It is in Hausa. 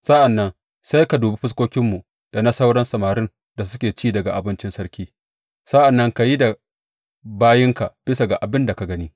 Sa’an nan sai ka dubi fuskokinmu da na sauran samarin da suke ci daga abincin sarki; sa’an nan ka yi da bayinka bisa ga abin da ka gani.